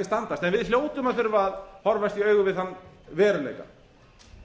standast en við hljótum að þurfa að horfast í augu við þann veruleika